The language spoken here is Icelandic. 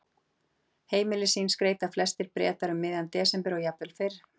heimili sín skreyta flestir bretar um miðjan desember og jafnvel fyrr